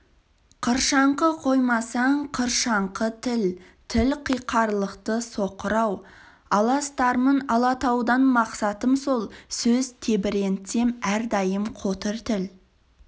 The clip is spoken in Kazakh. қыршаңқы қоймасаң қыршаңқы тіл тіл қиқарлықты соқыр-ау аластармын алатаудан мақсатым сол сөз тебірентсем әрдайым қотыр тіл